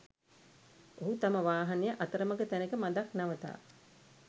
ඔහු තම වාහනය අතරමග තැනක මදක් නවතා